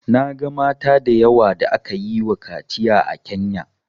Na ga mata da yawa da aka yi wa kaciya a Kenya